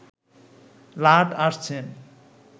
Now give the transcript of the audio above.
লাট আসছেন